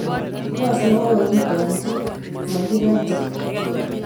Yoos ne kokakitamchi ,makiyraate